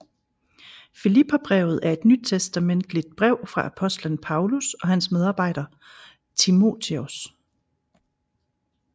Filipperbrevet er et nytestamentligt brev fra apostlen Paulus og hans medarbejder Timotheus